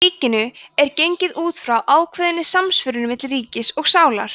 í ríkinu er gengið út frá ákveðinni samsvörun milli ríkis og sálar